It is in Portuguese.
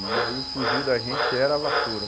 E aí o fuzil da gente era a vassoura.